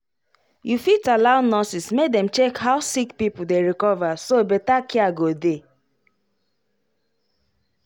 you fit allow nurses make dem check how sick people dey recover so better care go dey.